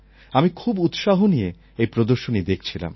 আমি খুব উৎসাহ নিয়ে এই প্রদর্শনী দেখছিলাম